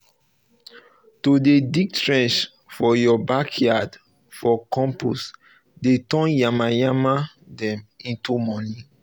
to dey dig um trenches for your backyard for compost dey turn yamayama dem into money